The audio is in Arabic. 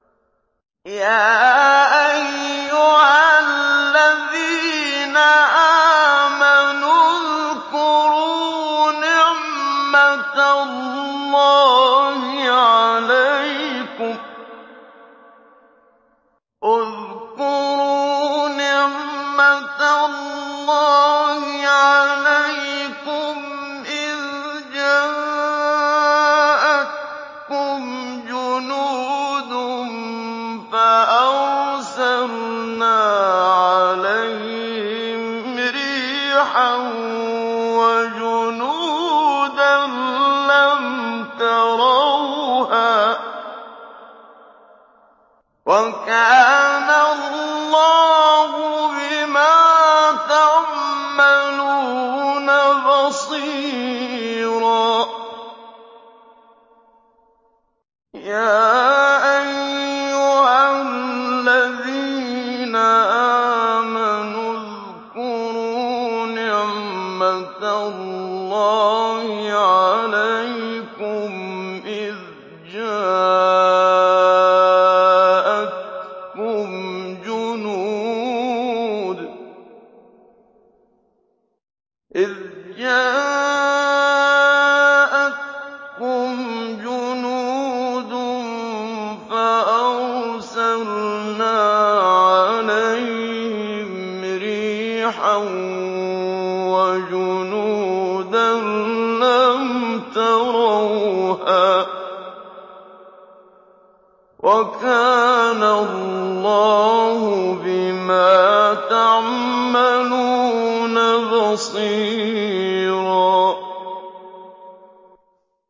يَا أَيُّهَا الَّذِينَ آمَنُوا اذْكُرُوا نِعْمَةَ اللَّهِ عَلَيْكُمْ إِذْ جَاءَتْكُمْ جُنُودٌ فَأَرْسَلْنَا عَلَيْهِمْ رِيحًا وَجُنُودًا لَّمْ تَرَوْهَا ۚ وَكَانَ اللَّهُ بِمَا تَعْمَلُونَ بَصِيرًا